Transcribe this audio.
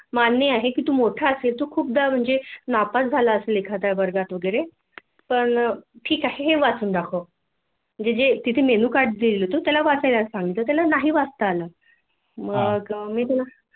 मान्य आहे की तु मोठा असेल तु खूपदा म्हणजे नापास झाला असेल एखाद्या वर्गात वैगेरे पण ठिक आहे हे वाचून दाखव जे तिथे मेन्यू कार्डदिलं होत ते त्याला वाचायला सांगितल होतं त्याला नाही वाचता आलं